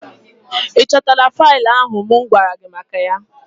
Ị chọtala faịlụ ahụ mụ gwara gị maka ya?